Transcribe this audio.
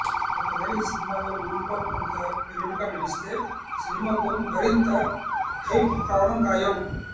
ఒకవేళ ఈ సినిమాలో మోహన్ బాబు కనుక విలన్ గా నటిస్తే సినిమాకు మతింత హైప్ రావడం ఖాయం